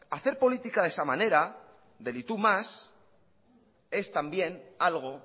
hacer política de esa manera del y tú más es también algo